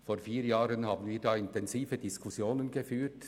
Vor vier Jahren haben wir intensive Diskussionen geführt.